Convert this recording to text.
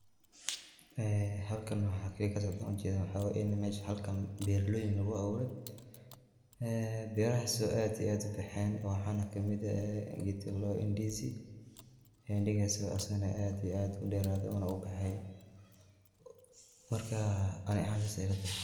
Ee halkaan waxa kaaliya kaa socdoo aan ujeedo waxa waaye iin meshaan halkaan berloyiin laguu abuure. ee berahaas oo aad iyo aad ubexen waxanaa kamiid eeh gedkaa laa daaho ndizi. ndizi gaas oo asagaana aad iyo aad uderaade unaa ubaxaay markaa anii ahaan saase ilaa tahaay.